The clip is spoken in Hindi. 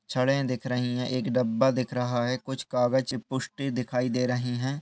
छड़े दिख रही हैं। एक डब्बा दिख रहा है। कुछ कागज की पुष्टि दिखाई दे रही है।